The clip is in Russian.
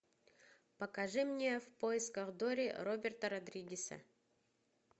покажи мне в поисках дори роберта родригеса